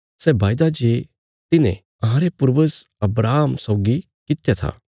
सै वायदा जे तिन्हे अहांरे पूर्वज अब्राहम सौगी कित्या था